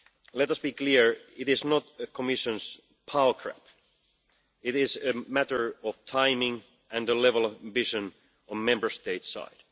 Let us be clear it is not the Commission's power trap. It is a matter of timing and the level of ambition on the Member States' side.